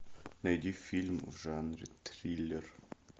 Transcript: найди фильм в жанре триллер